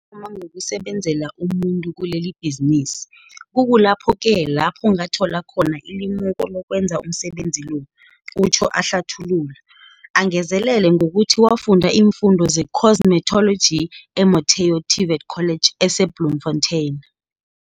Ngathoma ngokusebenzela umuntu kilebhizinisi. Kuku lapho-ke lapho ngathola khona ilimuko lokwenza umsebenzi lo, utjho ahlathulula, angezelele ngokuthi wafunda iimfundo zecosmetology , e-Motheo TVET College ese-Bloemfontein.